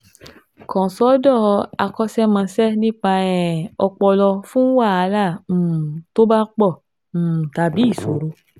Kàn sọ́dọ̀ akọ́ṣẹ́mọṣẹ́ nípa um ọpọlọ fún wàhálà um tó bá pọ̀ um tàbí ìṣòro